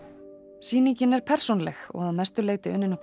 sýningin er persónuleg og að mestu leyti unnin upp úr